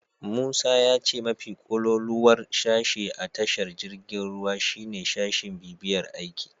Musa ya ce mafi kololuwar sashe a tashar jirgin ruwa shine sashin bibiyar aiki.